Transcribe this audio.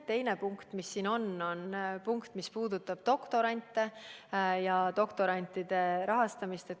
Teine punkt, mis siin on, puudutab doktorante, doktorantide rahastamist.